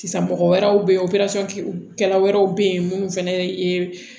Sisan mɔgɔ wɛrɛw be yen operesɔnkɛla wɛrɛw be yen munnu fɛnɛ yee